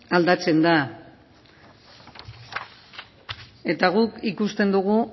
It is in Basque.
aldatzen da eta guk ikusten dugu